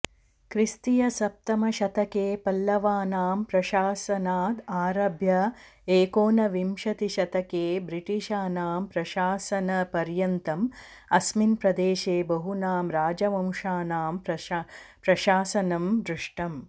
क्रिस्तीयसप्तमशतके पल्लवानां प्रशासनाद् आरभ्य एकोनविंशतिशतके ब्रिटिशानां प्रशासनपर्यन्तम् अस्मिन् प्रदेशे बहूनां राजवंशानां प्रशासनं दृष्टम्